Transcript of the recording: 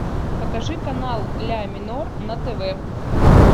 покажи канал ля минор на тв